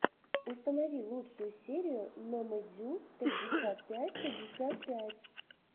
установи лучшую серию номэдюпятьдесятпятьпятьдесяпятьпять